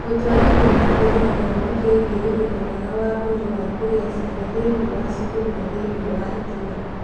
Gũtwarithia na mbere gĩthomo kĩgiĩ ũgima mwega wa mwĩrĩ wa kugĩa ciana thĩinĩ wa cukuru na thĩinĩ wa itũũra.